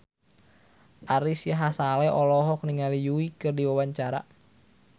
Ari Sihasale olohok ningali Yui keur diwawancara